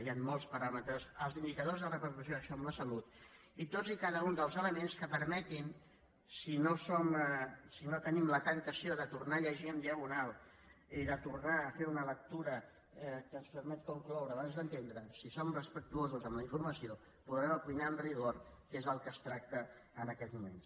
hi han molts paràmetres els indicadors de repercussió d’això en la salut i tots i cada un dels elements que permetin si no tenim la temptació de tornar a llegir en diagonal i de tornar a fer una lectura que ens permet concloure abans d’entendre si som respectuosos amb la informació podrem opinar amb rigor que és del que es tracta en aquests moments